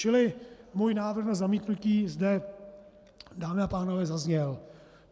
Čili můj návrh na zamítnutí zde, dámy a pánové, zazněl.